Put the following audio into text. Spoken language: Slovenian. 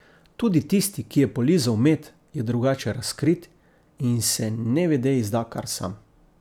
Tudi tisti, ki je polizal med, je drugače razkrit in se nevede izda kar sam.